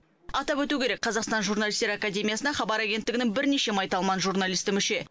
атап өту керек қазақстан журналистер академиясына хабар агенттігінің бірнеше майталман журналисті мүше